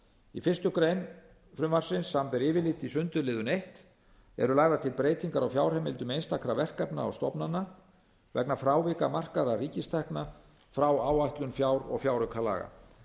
í fyrstu grein frumvarpsins samanber yfirlit í sundurliðun eins eru lagðar til breytingar á fjárheimildum einstakra verkefna og stofnana vegna frávika markaðra ríkistekna frá áætlun fjár og fjáraukalaga